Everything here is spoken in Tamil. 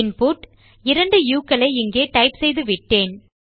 இன்புட் 2 உ க்களை இங்கே டைப் செய்துவிட்டேன்